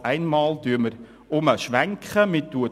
Auf einmal schwenken wir wieder um: